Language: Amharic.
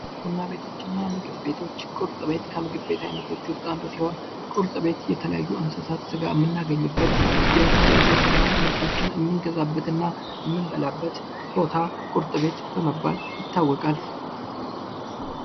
ቡና ቤቶችና ምግብ ቤቶች ቁርጥ ቤት ከምግብ የተለያዩ እንስሳት ስጋ የምናገኝበት የተለያዩ የስጋ ምርቶችን የምንገዛበት እና የምንበላበት ቦታ ቁርጥ ቤት ተብሎ ይታወቃል።